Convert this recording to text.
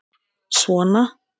Svona